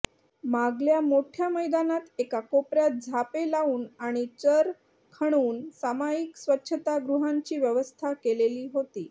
मागल्या मोठ्या मैदानात एका कोपऱ्यात झापे लावून आणि चर खणून सामायिक स्वच्छतागृहांची व्यवस्था केलेली होती